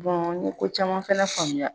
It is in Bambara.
n ye ko caman fɛnɛ faamuya